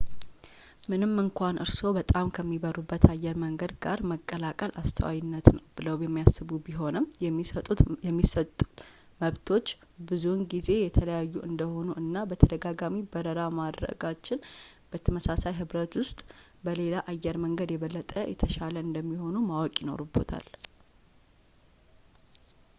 ምንም እንኳን እርስዎ በጣም ከሚበሩበት አየር መንገድ ጋር መቀላቀል አስተዋይነት ነው ብለው የሚያስቡ ቢሆኑም ፣ የሚሰጡት መብቶች ብዙውን ጊዜ የተለያዩ እንደሆኑ እና በተደጋጋሚ በረራ ማድረግች በተመሳሳይ ህብረት ውስጥ በሌላ አየር መንገድ የበለጠ የተሻለ እንደሚሆኑ ማወቅ ይኖርብዎታል